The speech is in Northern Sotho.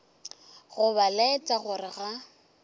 go ba laetša gore ga